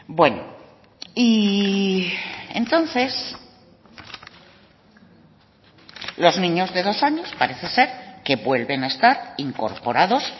bueno y entonces los niños de dos años parece ser que vuelven a estar incorporados